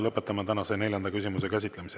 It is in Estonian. Lõpetan tänase neljanda küsimuse käsitlemise.